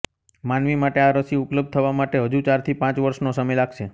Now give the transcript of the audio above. માનવી માટે આ રસી ઉપલબ્ધ થવા માટે હજુ ચારથી પાંચ વર્ષનો સમય લાગશે